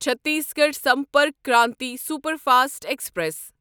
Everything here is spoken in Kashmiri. Chhattisgarh Sampark Kranti superfast express